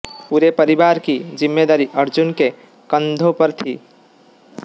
पूरे परिवार की जिम्मेदारी अर्जुन के कंधों पर थी